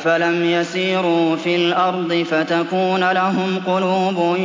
أَفَلَمْ يَسِيرُوا فِي الْأَرْضِ فَتَكُونَ لَهُمْ قُلُوبٌ